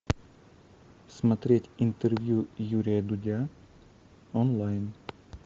смотреть интервью юрия дудя онлайн